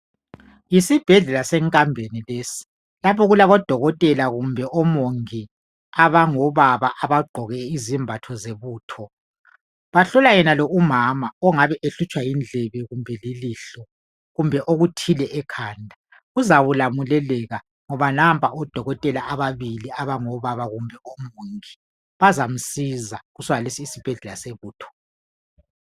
Yesibhedlela senkambeni lesi lapha okulabodokotela kumbe omongi abangobaba abagqoke izembatho zebutho. Bahlola yenalo umama ongabe ehlutshwa yindlebe kumbe ilihlo kumbe okuthile ekhanda. Uzakulamulekeka ngoba nampa odokotela ababili abangobaba kumbe ngomongi bazamsiza kusomalesi isibhedlela sebutho.